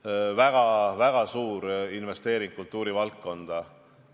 See on väga-väga suur investeering kultuurivaldkonda.